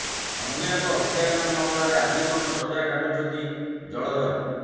ଅନ୍ୟ ଏକ ହତ୍ୟାକାଣ୍ଡ ମାମଲାରେ ଆଜୀବନ ସଜା କାଟୁଛନ୍ତି ଜଳଧର